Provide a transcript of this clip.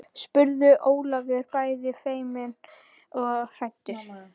spurði Ólafur bæði feiminn og hræddur.